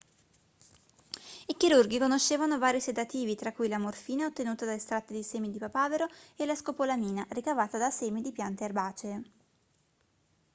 i chirurghi conoscevano vari sedativi tra cui la morfina ottenuta da estratti di semi di papavero e la scopolamina ricavata da semi di piante erbacee